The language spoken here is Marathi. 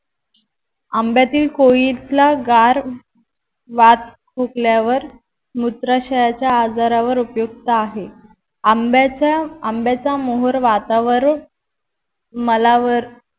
आंब्यातील कोइतला गार वात फुकल्यावर मूत्राशयचा आजारावर उपयुक्त आहे आंब्याच्या आंब्याचा मोहोर वातावर मलावर